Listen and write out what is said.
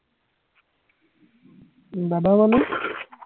দাদা মানে